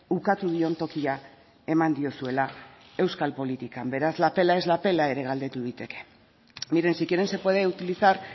ukatu dion tokia eman diozuela euskal politikan beraz la pela es la pela ere galdetu daiteke miren si quieren se puede utilizar